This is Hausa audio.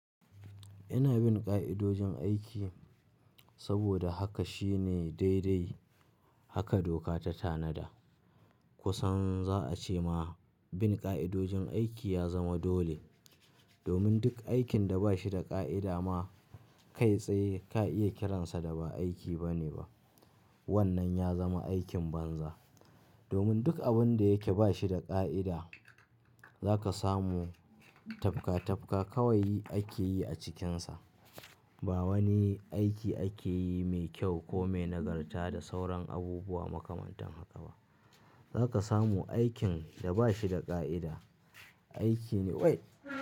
Ina bin ƙa'idojin aiki saboda haka shine daidai haka doka ta tanada. Kusan za a ce ma bin ƙa'idojin aiki ya zama dole. Domin duk aikin da ba shi da ƙa'ida ma kai tsaye ka iya kiransa da ba aiki ba ne ba. Wannan ya zama aikin banza. Domin duk abin da yake ba shi da ƙa'ida za ka samu tafka-tafka kawai ake yi a cikinsa. Ba wani aiki ake yi mai kyau ko mai nagarta da sauran abubuwa makamantan haka ba. Za ka samu aikin da ba shi da ƙa'ida, aiki ne wai.